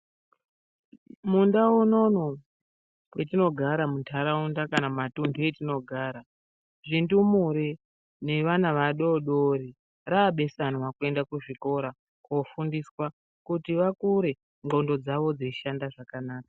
Mundau unono mwetinogara mundaraunda kana mumatundu metinogara zvindumure nevana vadodori rabesamwa kuenda kuzvikora kofundiswa kuti vakure nxondo dzavo dzeishanda zvakanaka.